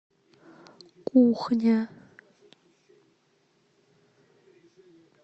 кухня